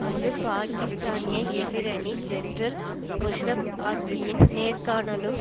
அங்கு பாக்கிஸ்தானிய எதிரணி ஜெனரல் முஷாரப் ஆட்சியின் நேர்காணலும்